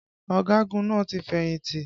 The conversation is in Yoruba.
Ọ̀gagun náà ti fẹ̀yìntì